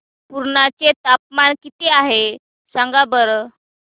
पुर्णा चे तापमान किती आहे सांगा बरं